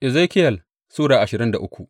Ezekiyel Sura ashirin da uku